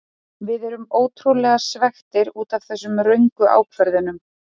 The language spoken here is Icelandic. Við erum ótrúlega svekktir útaf þessum röngu ákvörðunum.